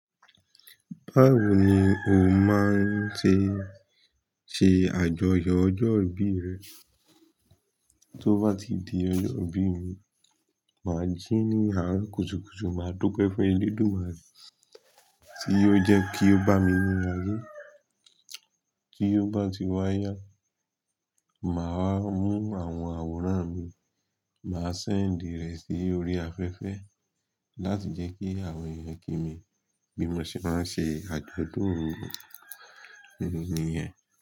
Báwo ni o máa n ṣe ṣe àjọyọ̀ ọjọ́ ìbí rẹ? Tí ó bá ti di bí, máa jí ní àárọ̀ kùtùkùtù ma dúpẹ́ fún elédùmarè tí ó jẹ́ kí ó bami re tí yóò bá ti wáyá, màá wá mú àwọn àwòrán mi, màá send rẹ̀ sí orí afẹ́fẹ́ láti jẹ́ kí àwọn ènìyàn kí mi bí mo ṣe máa ń ṣe àjọ̀dún ìbí mi tèmi nìyẹn.